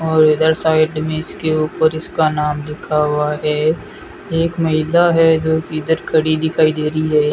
और इधर साइड में इसके ऊपर इसका नाम लिखा हुआ है एक महिला है जो किधर खड़ी दिखाई दे रही है।